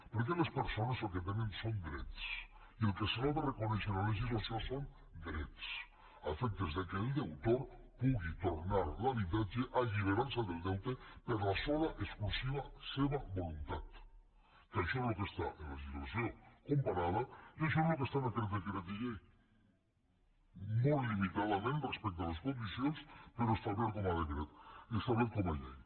perquè les persones el que tenen són drets i el que se’ls ha de reconèixer en la legislació són drets a efectes que el deutor pugui tornar l’habitatge alliberant se del deute per la sola exclusiva seva voluntat que això és el que està en la legislació comparada i això és el que està en aquell decret llei molt limitadament respecte a les condicions però establert com a decret establert com a llei